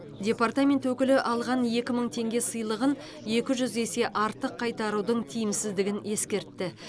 департамент өкілі алған екі мың теңге сыйлығын екі жүз есе артық қайтарудың тиімсіздігін ескертті